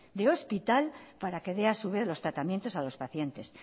de hospital para que dé a su vez el tratamiento a los pacientes